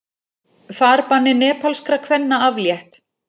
Farbanni nepalskra kvenna aflétt